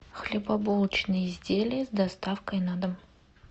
хлебобулочные изделия с доставкой на дом